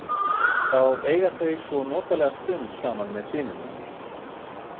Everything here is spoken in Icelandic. Þá eiga þau svo notalega stund saman með syninum.